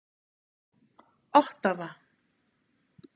Ottawa